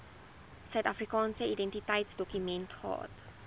suidafrikaanse identiteitsdokument gehad